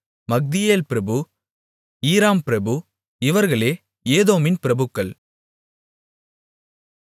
Magdiel பிரபு Iram பிரபு இவர்களே ஏதோமின் பிரபுக்கள்